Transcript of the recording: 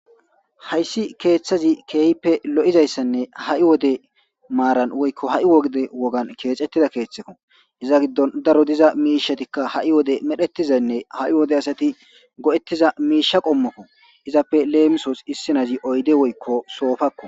Hayssi keeththazi keehppe lo7izayssanne ha7i wode maaran woykko ha7i wogde wogan keecettida keeththeko iza giddon daro diza miishatikka ha7i wode medhetizaynne ha7i wode asati go7ettiza miisha qommokko izappe leemisoos issinazi oyde woykko soofakko.